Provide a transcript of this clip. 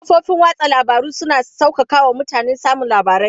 Kafofin watsa labaru suna sauƙaƙa wa mutane samun labarai.